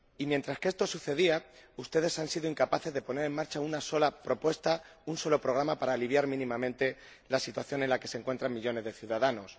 Y mientras esto sucedía, ustedes han sido incapaces de poner en marcha una sola propuesta, un solo programa, para aliviar mínimamente la situación en la que se encuentran millones de ciudadanos.